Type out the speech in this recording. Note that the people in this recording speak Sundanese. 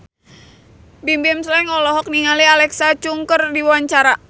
Bimbim Slank olohok ningali Alexa Chung keur diwawancara